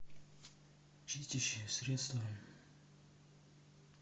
чистящее средство